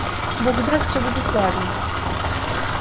бог даст всё будет ладно